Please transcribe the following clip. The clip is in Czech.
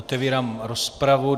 Otevírám rozpravu.